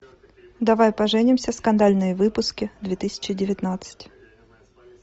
давай поженимся скандальные выпуски две тысячи девятнадцать